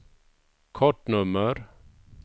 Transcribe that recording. kortnummer